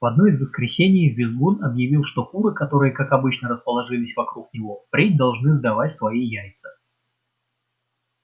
в одно из воскресений визгун объявил что куры которые как обычно расположились вокруг него впредь должны сдавать свои яйца